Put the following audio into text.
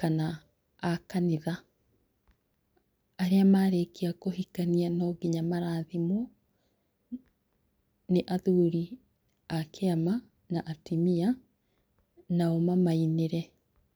kana a kanitha. Arĩa marĩkia kũhikania no nginya marathimwo nĩ athuri a kĩama na atumia nao mamainĩre